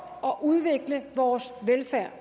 og udvikle vores velfærd